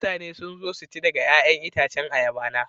Mutane sun zo su ci daga 'ya'yan itacen ayaba na.